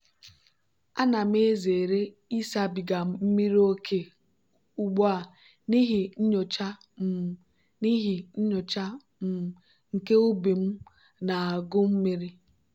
ana m ezere ịsabiga mmiri ókè ugbu a n'ihi nyocha um n'ihi nyocha um nke ubi m na-agụ mmiri.